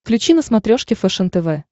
включи на смотрешке фэшен тв